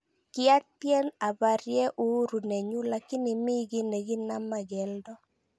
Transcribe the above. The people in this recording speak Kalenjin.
Kiatyen abarye uhuru nenyu lakini mi gi nekinama geldo